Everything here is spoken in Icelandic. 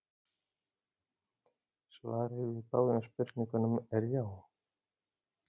Svarið við báðum spurningunum er já.